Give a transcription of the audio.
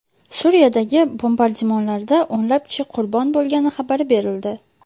Suriyadagi bombardimonlarda o‘nlab kishi qurbon bo‘lgani xabar berildi.